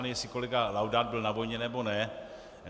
Nevím, jestli kolega Laudát byl na vojně, nebo ne.